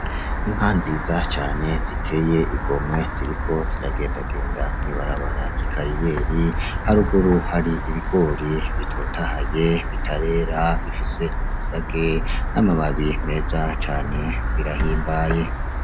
Inka nziza cane ziteye igomwe ziriko ziragendagenda mw'ibarabara ry'ikariyeri haruguru hari ibigori bitotahaye bitarera bifise amasage n'amababi meza cane birahimbaye.